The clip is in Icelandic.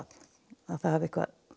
að það hafi